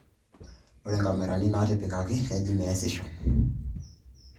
Ore inkamerani naatipikaki neji meesisho